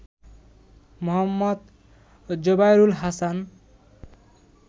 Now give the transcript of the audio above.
Md. Zobayrul Hasan